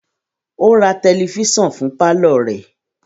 O ra tẹlifisiọnu fún parlor rẹ